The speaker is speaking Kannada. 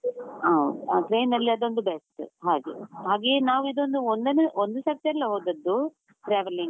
ಹಾ, train ಅದೊಂದು best ಹಾಗೆ, ಹಾಗೆಯೆ ನಾವು ಇದೊಂದು ಒಂದನೆ ಒಂದು ಸರ್ತಿ ಅಲ್ಲ ಹೋದದ್ದು traveling .